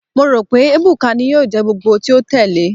Mo ro pe Ebuka ni yoo jẹ gbogbogbo ti o tẹle